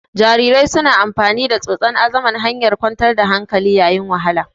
Jarirai suna amfani da tsotsa azaman hanyar kwantar da hankali yayin wahala.